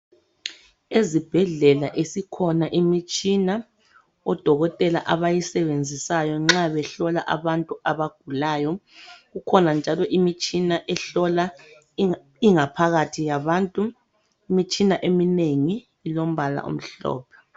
ezibhedlela isikhona imitshina odokotela abayisebenzisayo nxa behlola abantu abagulayo kukhona njalo imitshina ehlola ingaphakathi yabantu imitshina eminengi ilompala omhlophe